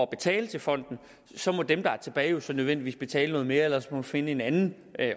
betaler til fonden så må dem der er tilbage nødvendigvis betale noget mere ellers må man finde en anden